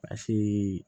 A si